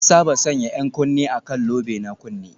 An saba sanya 'yan kunne a kan lobe na kunne